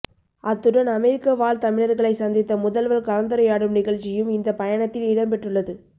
அத்துடன் அமெரிக்க வாழ் தமிழர்களை சந்தித்து முதல்வர் கலந்துரையாடும் நிகழ்ச்சியும் இந்த பயணத்தில் இடம் பெற்றுள்ளது